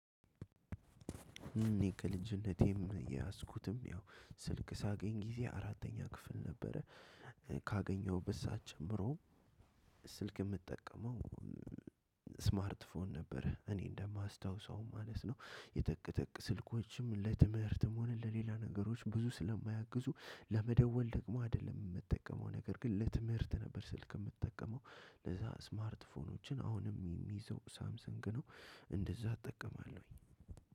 እኔ ከልጅነቴም የያዝኩትም ያው ስልክ ሳገኝ ጊዜ አራተኛ ክፍል ነበረ። ካገኘሁበት ሳዓት ጀምሮ ስልክ የምጠቀመው ስማርት ፎን ነበር። እኔ እንደማስታውሰው ማለት ነው። የጠቅ ጠቅ ስልኮችም ለትምህርትም ሆነ ለሌላ ነገሮች ብዙ ስለማያግዙ ለመደወል ደግሞ አይደለም የምትጠቀመው ነገር ግን ለትምህርት ነበር። ስልክ የምትጠቀመው ለዛ ስማርት ስልኮችን አሁንም የሚይዘው ሳምሰን ግን እንደዛ እጠቀማለሁኝ።